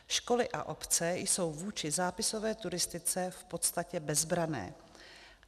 Školy a obce jsou vůči zápisové turistice v podstatě bezbranné.